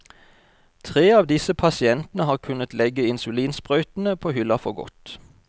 Tre av disse pasientene har kunnet legge insulinsprøytene på hylla for godt.